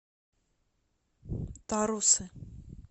тарусы